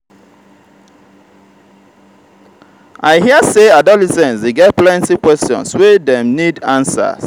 i hear sey adolescents dey get plenty questions wey dem need answers.